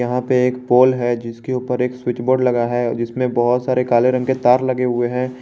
यहाँ पे एक पोल है जिसके ऊपर एक स्विच बोर्ड लगा है जिसमें बहोत सारे काले रंग के तार लगे हुए हैं।